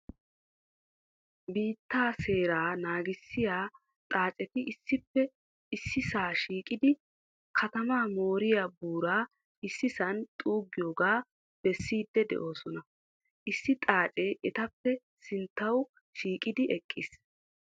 Biittaa seeraa naagissiyaa xaacetti issippe issisaa shiiqqidi katamaa mooriyaa buuraa issisan xuuggiyoogaa beessiidi de'oosona. Issi xaacee etappe sinttawu shiiqqidi eqqiis.